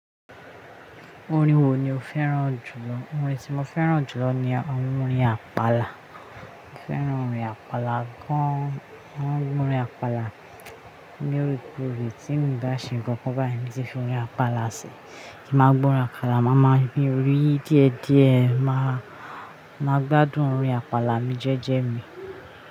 Orin wo ni o fẹ́ràn jùlọ? Orin tí mo fẹ́ràn jùlọ ni orin Àpàlà. Mo fẹ́ràn orin Àpàlà gan. Mo máa ǹgbọ́ orin Àpàlà lóore kórè. Tt mi ò bá ṣe nǹkan kan báyìí mo ti fi orin Àpàlà sí, tí mo bá ǹgbọ́ orin Àpàlà, máa máa yí orí díẹ̀ díẹ̀, máa, máa gbádùn orin Àpàlà ní jẹ́jẹ́ mi.